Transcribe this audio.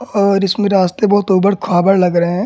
और इसमें रास्ते बहुत उबड़ खाबड़ लग रहे हैं।